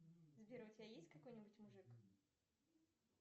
сбер у тебя есть какой нибудь мужик